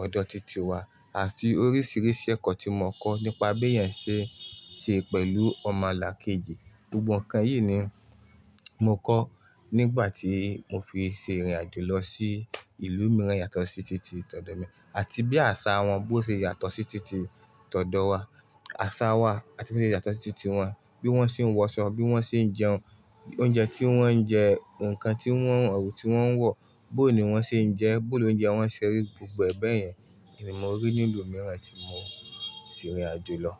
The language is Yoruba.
ọ̀dọ̀ titi wa àti oríṣìíríṣìí ẹ̀kọ́ tí mo kọ́ nípa bí èèyàn ṣe ń ṣe pẹ̀lú ọmọlàkejì. Gbogbo nǹkan yìí ni mo kọ́ nígbà tí mo fi ṣe ìrìn àjò lọ sí ìlú mìíràn yàtọ̀ sí titi t'ọ̀ọ̀dọ̀ mi, àti bí àṣà wọn bó ṣe yàtọ̀ sí titi t'ọ̀ọ̀dọ̀ wa, àṣà wa àti bó ṣe yàtọ̀ sí titi wọn, bí wọ́n ṣe ń wọṣọ, bí wọ́n ṣe ń jẹun, oúnjẹ tí wọ́n ń jẹ, nǹkan tí wọ́n, ẹwu tí wọ́n ń wọ̀, bó ni wọ́n ṣe ń jẹ ẹ́, bó ni oúnjẹ wọn ṣe rí, gbogbo ẹ̀ bẹ̀yẹn ni mo rí ní ìlú mìíràn tí mo ti rin ìrìn àjò lọ.